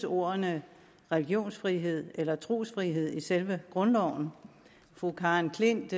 ordene religionsfrihed og trosfrihed i selve grundloven fru karen klint